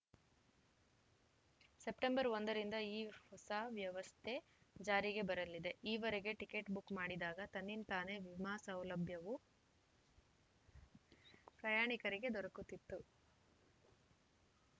September ಒಂದರಿಂದ ಈ ಹೊಸ ವ್ಯವಸ್ಥೆ ಜಾರಿಗೆ ಬರಲಿದೆ ಈವರೆಗೆ ಟಿಕೆಟ್‌ ಬುಕ್‌ ಮಾಡಿದಾಗ ತನ್ನಿಂತಾನೇ ವಿಮಾ ಸೌಲಭ್ಯವೂ ಪ್ರಯಾಣಿಕರಿಗೆ ದೊರಕುತ್ತಿತ್ತು